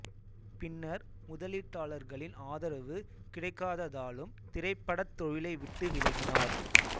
பின்னர் முதலீட்டாளர்களின் ஆதரவு கிடைக்காததாலும் திரைப்படத் தொழிலை விட்டு விலகினார்